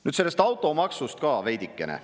Nüüd sellest automaksust ka veidikene.